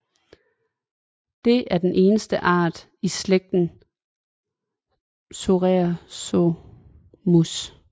Det er den eneste art i slægten psarisomus